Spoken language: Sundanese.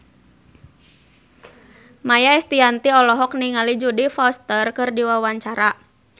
Maia Estianty olohok ningali Jodie Foster keur diwawancara